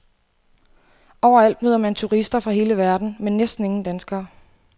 Overalt møder man turister fra hele verden, men næsten ingen danskere.